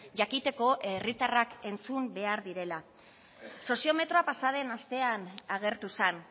jakiteko herritarrak entzun behar direla soziometroa pasa den astean agertu zen